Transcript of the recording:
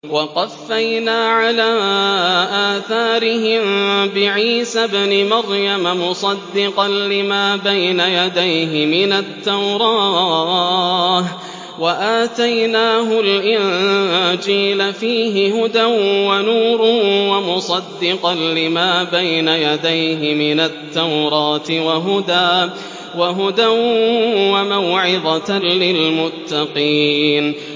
وَقَفَّيْنَا عَلَىٰ آثَارِهِم بِعِيسَى ابْنِ مَرْيَمَ مُصَدِّقًا لِّمَا بَيْنَ يَدَيْهِ مِنَ التَّوْرَاةِ ۖ وَآتَيْنَاهُ الْإِنجِيلَ فِيهِ هُدًى وَنُورٌ وَمُصَدِّقًا لِّمَا بَيْنَ يَدَيْهِ مِنَ التَّوْرَاةِ وَهُدًى وَمَوْعِظَةً لِّلْمُتَّقِينَ